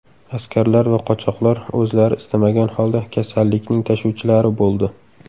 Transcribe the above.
Askarlar va qochoqlar o‘zlari istamagan holda kasallikning tashuvchilari bo‘ldi.